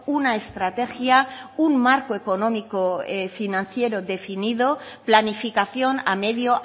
una estrategia un marco económico financiero definitivo planificación a medio